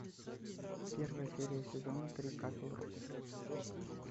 первая серия сезона три касл рок